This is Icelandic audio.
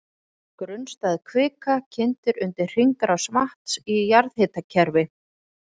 Grunnstæð kvika kyndir undir hringrás vatns í jarðhitakerfi.